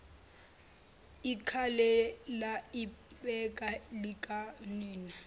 ikhalela ibele likanina